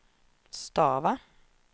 stava